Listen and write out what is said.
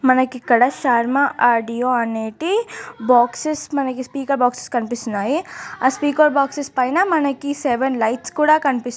మనకు ఇక్కడ శర్మ ఆడియో అనేది బక్సేస్ మనకు స్పీకర్ బక్సేస్ కనిపిస్తునై ఆ స్పీకర్ బక్షేస్ పైన సెవెన్ లైట్స్ కూడా మనకి కనిపిస్తు--